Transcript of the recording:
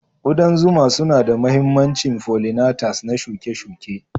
Ƙudan zuma suna da mahimmancin follinatas na shuke-shuke.